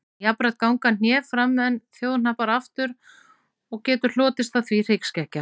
Jafnframt ganga hné fram en þjóhnappar aftur og getur hlotist af því hryggskekkja.